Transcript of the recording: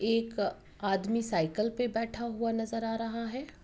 एक आदमी साइकिल पे बैठा हुआ नजर आ रहा है।